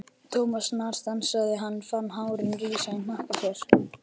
Thomas snarstansaði, hann fann hárin rísa í hnakka sér.